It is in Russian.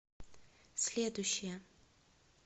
следующая